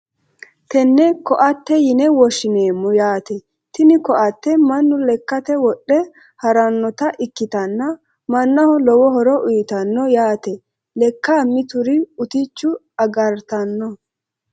Tene ko`ate yine woshineemo yaate tini ko`ateno manu lekkate wodhe haranota ikitanna manaho lowo horo uyitano yaate lekka mitiri uticho agartano.